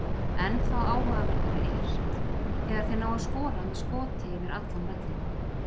Ennþá áhugaverðara er þegar þeir ná að skora með skoti yfir allan völlinn.